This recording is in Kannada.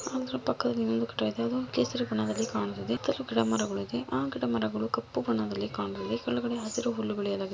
ಇದರ ಪಕ್ಕದ ಇಂದು ಕೇಂದ್ರಗಳಲ್ಲಿ ಕಾಣುತ್ತದೆ ಕ್ರಮಾಂಕದ ಮಗಳು ಕಪ್ಪು ಕುಳಿಗಳು ಹಸಿರು ಹುಲ್ಲುಗಳು.